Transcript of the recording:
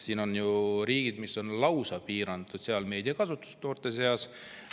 On ju riike, kes on lauspiiranud sotsiaalmeedia kasutust noorte seas.